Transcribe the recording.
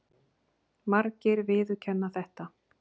Margir viðurkenna þetta.